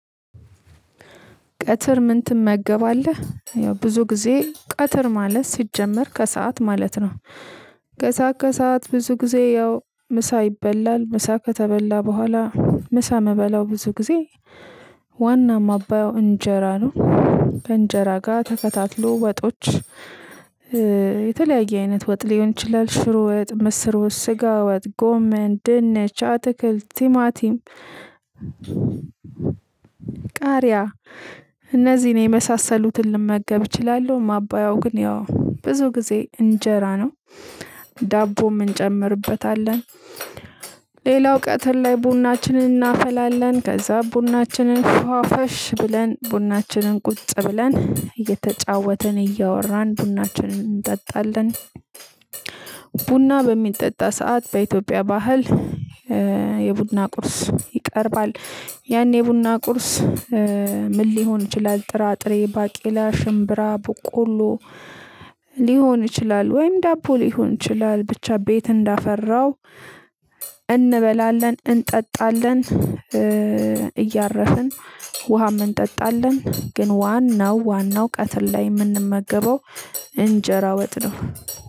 ቀትር ምን ትመገባለህ የው ብዙ ጊዜ ቀትር ማለት ስጀመር ከሰአት ማለት ነው። ከሰአት ከሰአት ብዙ ጊዜ የው ምሳ ይበላል ምሳ ከተበለ በኋላ ምሳ ምበለው ብዙ ጊዜ። ዋና ማባየው እንጀራ ነው። ከእንጀራ ጋ ተከታትሎ ወጦች። የተለያየ አይነት ወጥ ሊሆን ይችላል ሽሮ ወጥ ምስሩስ ስጋ ወጥ ጎመን ድንቻ አትክልት ቲማቲም። ቃሪያ እነዚህን የመሳሰሉትን ልመገብ እችላለሁ። ማባያው ግን ያው ብዙ ጊዜ እንጀራ ነው። ዳቦ እንጨምርበታለን። ሌላው ቀትር ላይ ቡናችንን እናፈላለን ከዛ ቡናችንን ፏ ፋሽ ብለን ቡናችንን ቁጭ ብለን እየተጫወትን እያወራን ቡናችንን እንጠጣለን። ቡና በሚጠጣ ሰዓት በኢትዮጵያ ባህል። የቡና ቁርስ ይቀርባል። ያኔ የቡና ቁርስ ምን ሊሆን ይችላል? ጥራጥሬ ባቄላ ሽምብራ ቡቆሎ። ልሆን ይችላል ወይም ደቦ ልሆን ይችላል ብቻ ቤት እንደፈረው እንበላለን እንጠጣለን። እያረፍን ውሃም እንጠጣለን። ግን ዋናው ዋናው ቀትር ላይ ምንመገበው እንጀራ ወጥ ነው።